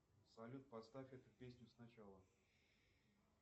салют поставь эту песню сначала